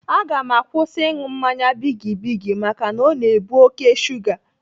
Aga m akwụsị ịṅụ mmanya bigi bigi maka o na-ebu oké shuga.